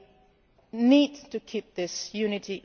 We need to keep this unity